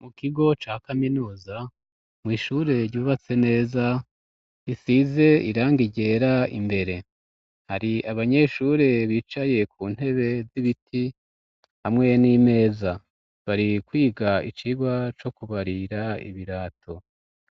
Mu kigo ca kaminuza mw'ishure ryubatse neza isize iranga iryera imbere hari abanyeshure bicaye ku ntebe z'ibiti hamwe n'imeza bari kwiga icirwa co kubarira ibirato